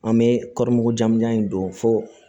An bɛ kɔri mugu jan in don fo